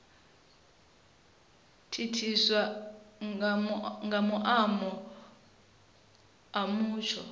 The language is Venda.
thithiswa nga maimo a mutsho